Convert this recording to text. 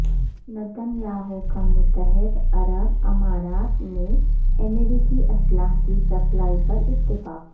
Nitin Yahoo کا متحدہ عرب امارات میں امریکی اسلحہ کی سپلائی پر اتفاق